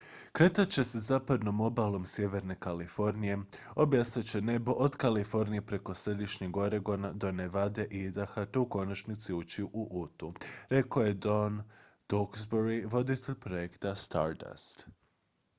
"""kretat će se zapadnom obalom sjeverne kalifornije obasjat će nebo od kalifornije preko središnjeg oregona do nevade i idaha te u konačnici ući u utu" rekao je tom duxbury voditelj projekta stardust.